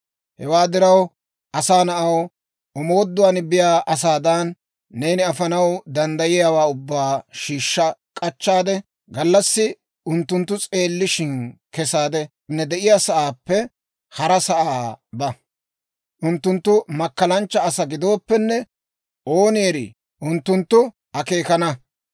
Hewaa diraw, asaa na'aw, omooduwaan biyaa asaadan, neeni afanaw danddayiyaawaa ubbaa shiishsha k'achchaade, gallassi unttunttu s'eellishshin kesaade, ne de'iyaasaappe hara sa'aa ba. Unttunttu makkalanchcha asaa gidooppenne, ooni erii, unttunttu akeekana.